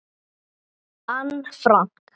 Anne Frank.